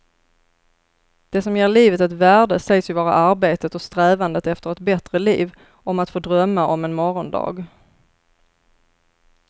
Det som ger livet ett värde sägs ju vara arbetet och strävandet efter ett bättre liv, om att få drömma om en morgondag.